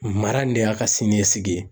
Mara in de y'a ka sini ɲɛsigi ye.